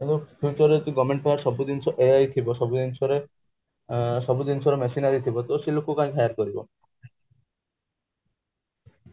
ତ future ରେ ସବୁ ଜିନିଷ ai ଥିବ ସବୁ ଜିନଷ ରେ machinery ଥିବ ତ ସେ ଲୋକ କାଇଁ higher କରିବ